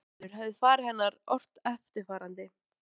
Nokkru áður hafði faðir hennar ort eftirfarandi